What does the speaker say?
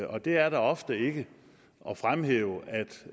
og det er der ofte ikke at fremhæve